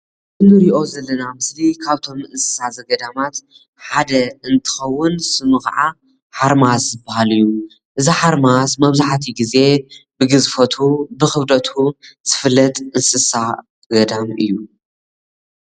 እዚ ምስሊ ካብቶም እንስሳ ዘገዳም ሓደ ኮይኑ ገዚፍ እንትኸውን ሽሙ ከዓ ሓርማዝ ይበሃል።